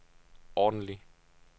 ordentligt